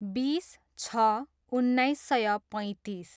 बिस छ उन्नाइस सय पैँतिस